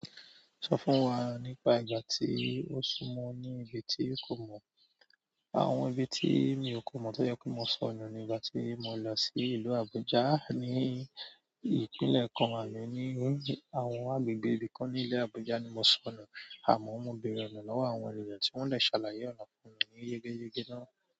Sọ fún wa nípa ìgbà tí o súnmọ́ ní ibi tí o kò mọ̀. Àwọn ibi tí mi ò kó mọ̀ tó jẹ́ pey mo sọnu nígbà tí mo lọ sí ìlú Abuja, ní ìpínlẹ̀ kan wa ní àwọn agbègbè ibi kan ní ìlú Abuja ni mo sọnu, àmọ́ mo bèèrè ọ̀nà lọ́wọ́ àwọn ènìyàn tí wọ́n de ṣàlàyé ọ̀nà fún mi ní yegeyege náà.